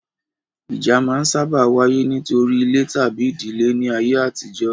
Ìjà máa n sáábà wáyé nítorí ilẹ̀ tabi ìdílé ní ayé àtijó